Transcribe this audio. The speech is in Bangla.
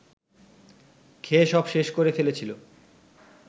খেয়ে সব শেষ করে ফেলেছিল